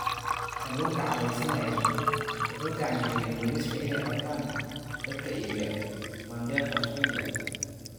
Kalluunka cadhaysanaya' wuxuu gacangeliyay booliska inay qabtaan dadka iibiya maandeeq Australia